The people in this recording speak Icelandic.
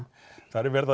þar er